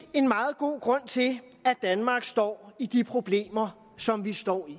en meget god grund til at danmark står i de problemer som vi står i